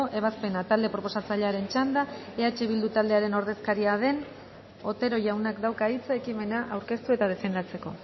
ebazpena talde proposatzailearen txanda eh bildu taldearen ordezkaria den otero jaunak dauka hitza ekimena aurkeztu eta defendatzeko